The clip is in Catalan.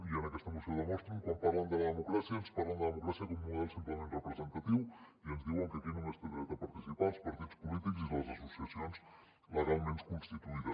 i en aquesta moció ho demostren quan parlen de la democràcia ens parlen de democràcia com un model simplement representatiu i ens diuen que aquí només hi tenen dret a participar els partits polítics i les associacions legalment constituïdes